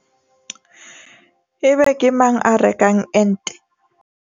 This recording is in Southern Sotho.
Ebe ke mang a rekang ente?